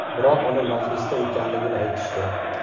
Biroq uni majlisda ekanligini aytishdi.